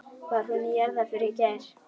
Var hún í jarðarför í gær?